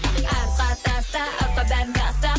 артқа таста артқа бәрін таста